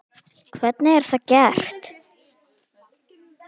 Hvernig er það gert?